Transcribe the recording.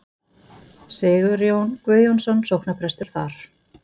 Sigurjón Guðjónsson sóknarprestur þar.